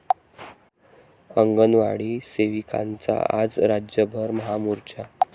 अंगणवाडी सेविकांचा आज राज्यभर महामोर्चा